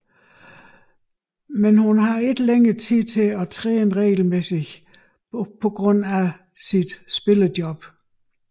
Hun har dog ikke længere tid til at træne regelmæssigt på grund af hendes spillejobs